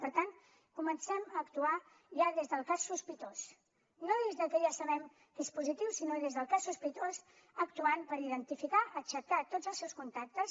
per tant comencem a actuar ja des del cas sospitós no des de que ja sabem que és positiu sinó des del cas sospitós actuant per identificar aixecar tots els seus contactes